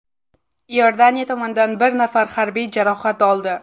Iordaniya tomonidan bir nafar harbiy jarohat oldi.